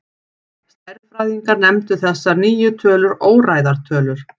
Stærðfræðingar nefndu þessar nýju tölur óræðar tölur.